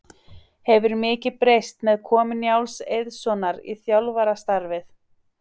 Hefur mikið breyst með komu Njáls Eiðssonar í þjálfarastarfið?